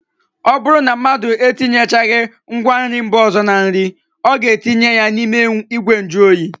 Ọ bụrụ na mmadụ etinyechaghị ngwanri mba ọzọ na nri, ọ ga-etinye ya n'ime ìgwè njụoyi